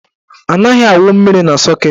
Anaghị awụ mmiri na sọket.